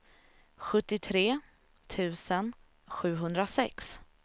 sjuttiotre tusen sjuhundrasex